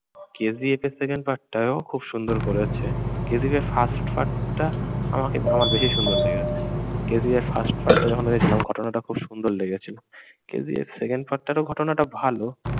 KGF এর second part টায়ও খুব সুন্দর করেছে। KGF এর first part টা আমাকে আমার বেশি সুন্দর লেগেছে। KGF এর first part টা যখন দেখেছিলাম ঘটনাটা খুব সুন্দর লেগেছিল। KGF এর second part টাতেও ঘটনাটা ভালো।